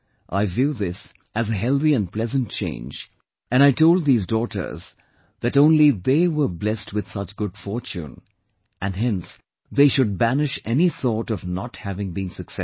I view this as a healthy and pleasant change and I told these daughters that only they were blessed with such good fortune, and hence they should banish any thought of not having been successful